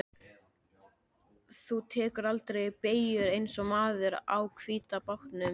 Þú tekur aldrei beygjur eins og maðurinn á hvíta bátnum.